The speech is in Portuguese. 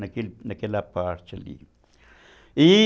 Naquele naquela parte ali, e